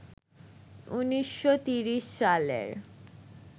১৯৩০ সালের